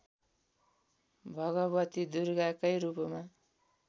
भगवती दुर्गाकै रूपमा